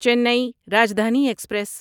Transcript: چینی راجدھانی ایکسپریس